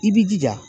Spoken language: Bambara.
I b'i jija